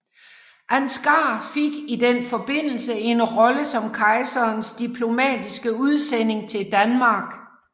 Ansgar fik i den forbindelse en rolle som kejserens diplomatiske udsending til Danmark